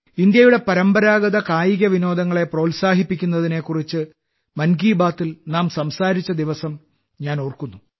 ഇന്ത്യയുടെ പരമ്പരാഗത കായിക വിനോദങ്ങളെ പ്രോത്സാഹിപ്പിക്കുന്നതിനെക്കുറിച്ച് മൻ കി ബാത്തിൽ നാം സംസാരിച്ച ദിവസം ഞാൻ ഓർക്കുന്നു